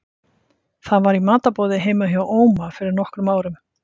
Það var í matarboði heima hjá Óma fyrir nokkrum árum.